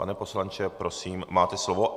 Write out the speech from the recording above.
Pane poslanče, prosím, máte slovo.